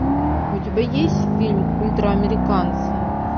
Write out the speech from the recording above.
у тебя есть фильм ультра американцы